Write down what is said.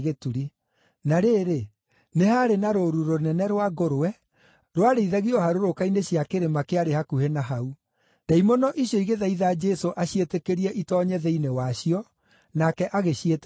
Na rĩrĩ, nĩ haarĩ na rũũru rũnene rwa ngũrwe rwarĩithagio harũrũka-inĩ cia kĩrĩma kĩarĩ hakuhĩ na hau. Ndaimono icio igĩthaitha Jesũ aciĩtĩkĩrie itoonye thĩinĩ wacio, nake agĩciĩtĩkĩria.